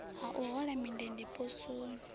ha u hola mindende poswoni